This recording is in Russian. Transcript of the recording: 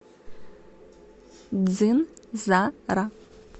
дзын за ра